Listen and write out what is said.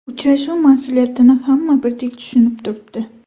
Uchrashuv mas’uliyatini hamma birdek tushunib turibdi”.